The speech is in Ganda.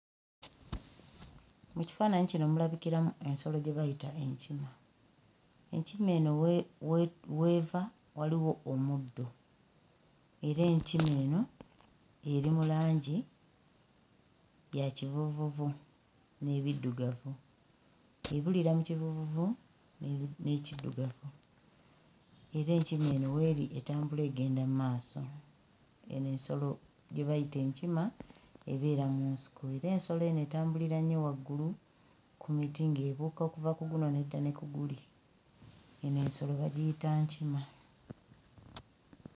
Mu kifaananyi kino mulabikiramu ensolo gye bayita enkima, enkima eno we we w'eva waliwo omuddo, era enkima eno eri mu langi ya kivuuvuvu n'ebiddugavu, ebulira mu kivuuvuvu n'ekiddugavu, era enkima eno w'eri etambula egenda mmaaso. Eno ensolo gye bayita enkima ebeera mu nsiko era ensolo eno etambulira nnyo waggulu ku miti ng'ebuuka okuva ku miti n'enva ku guno n'edda ne ku guli, eno ensolo bagiyita nkima.